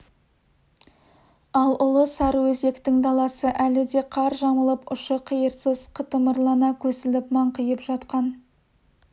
ал ұлы сарыөзектің даласы әлі де қар жамылып ұшы-қиырсыз қытымырлана көсіліп маңқиып жатқан